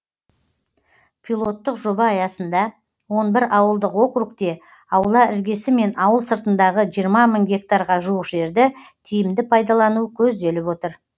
пилоттық жоба аясында он бір ауылдық округте аула іргесі мен ауыл сыртындағы жиырма мың гектарға жуық жерді тиімді пайдалану көзделіп отыр